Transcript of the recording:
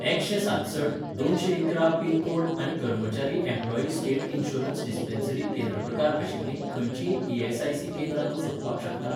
एकशें सातसठ दोनशेंइकरा पिन कोड आनी कर्मचारी एम्प्लॉयी स्टेट इन्शुरन्स डिस्पेन्सरी केंद्र प्रकार आशिल्लीं खंयचींय ई.एस.आय.सी. केंद्रां तूं सोदपाक शकता ?